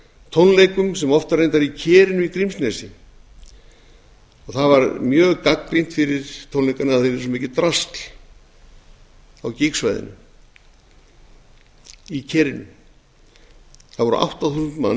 tónleikum sem voru reyndar í kerinu í grímsnesi það var mjög gagnrýnt fyrir tónleikana að það væri svo mikið drasl á gígsvæðinu í kerinu það voru átta þúsund